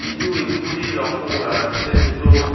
কিছু ইস্কুটি লক্ষ্য করা যাচ্ছে দুটো--